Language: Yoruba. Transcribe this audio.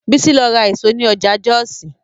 Bísí lọ ra èso ní ọjà Jọ́ọ̀sì